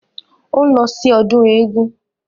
Ó ń lọ sí ọdún eégún